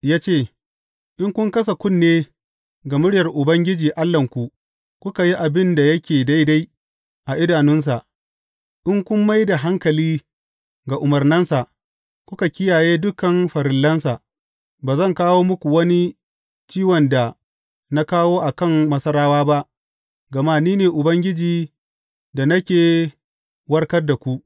Ya ce, In kun kasa kunne ga muryar Ubangiji Allahnku kuka yi abin da yake daidai a idanunsa, in kun mai da hankali ga umarnansa, kuka kiyaye dukan farillansa, ba zan kawo muku wani ciwon da na kawo a kan Masarawa ba, gama ni ne Ubangiji da nake warkar da ku.